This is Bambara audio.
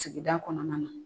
Sigida kɔnɔna na.